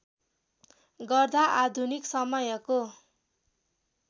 गर्दा आधुनिक समयको